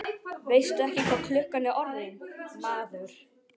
Veistu ekki hvað klukkan er orðin, maður?